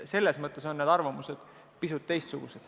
Selles mõttes on arvamused pisut erinevad.